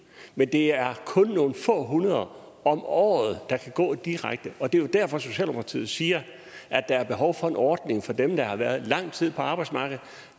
men det er kun nogle få hundrede om året der kan gå direkte og det er jo derfor socialdemokratiet siger at der er behov for en ordning for dem der har været lang tid på arbejdsmarkedet